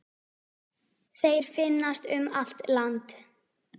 Þeir finnast um allt land.